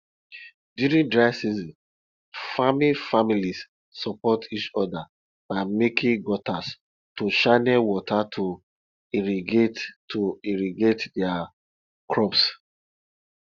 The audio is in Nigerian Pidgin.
during dry season farming families support each other by making gutters to channel water to irrigate to irrigate their crops